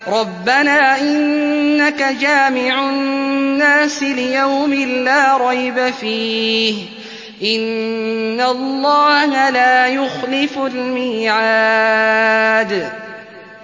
رَبَّنَا إِنَّكَ جَامِعُ النَّاسِ لِيَوْمٍ لَّا رَيْبَ فِيهِ ۚ إِنَّ اللَّهَ لَا يُخْلِفُ الْمِيعَادَ